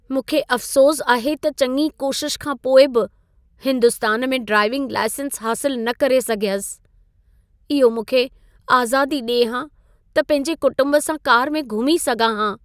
मूंखे अफ़सोसु आहे त चङी कोशिश खां पोइ बि हिन्दुस्तान में ड्राईविंग लाइसेंस हासिलु न करे सघियसि। इहो मूंखे आज़ादी ॾिए हा त पंहिंजे कुटुंब सां कार में घुमी सघां हा।